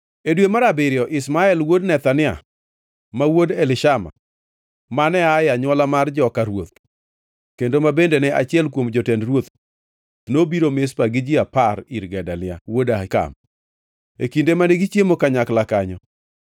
E dwe mar abiriyo Ishmael wuod Nethania, ma wuod Elishama, mane aa e anywola mar joka ruoth kendo ma bende ne achiel kuom jotend ruoth, nobiro Mizpa gi ji apar ir Gedalia wuod Ahikam. E kinde mane gichiemo kanyakla kanyo,